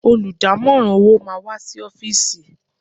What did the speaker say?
Olùdámọ̀ràn owó máà wá sí ọ́fìsì.